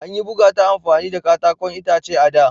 An yi buga ta amfani da katakon itace a da.